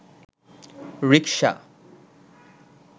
rickshaw